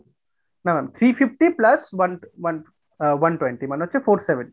না ma'am three fifty plus one one আ one twenty মানে হচ্ছে four seventy।